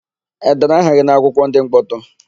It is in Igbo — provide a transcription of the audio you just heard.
E dere aha gị n'akwụkwọ ndị mkpọtụ?